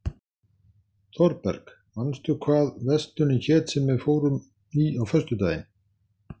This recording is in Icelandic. Þorberg, manstu hvað verslunin hét sem við fórum í á föstudaginn?